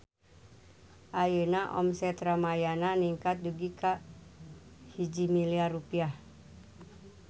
Ayeuna omset Ramayana ningkat dugi ka 1 miliar rupiah